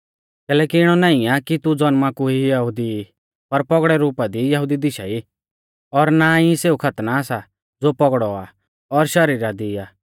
कैलैकि इणौ नाईं आ कि तू ज़ौनमा कु यहुदी ई पर पौगड़ै रुपा दी यहुदी दिशा ई और नाईं सेऊ खतना सा ज़ो पौगड़ौ आ और शरीरा दी आ